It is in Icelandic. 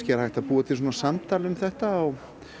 er hægt að búa til samtal um þetta á